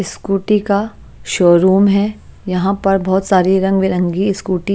scooty का showroom है यहां पर बहोत सारी रंग बिरंगी स्कूटी --